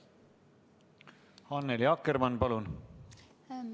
Annely Akkermann, palun!